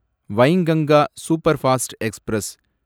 Wainganga superfast express